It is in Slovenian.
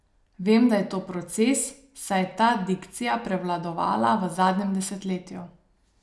Vem, da je to proces, saj je ta dikcija prevladovala v zadnjem desetletju.